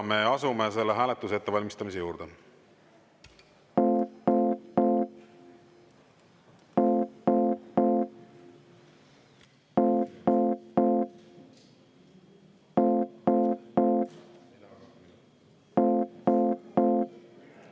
Me asume selle hääletuse ettevalmistamise juurde.